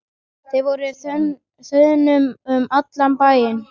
Þeir voru á þönum um allan bæinn.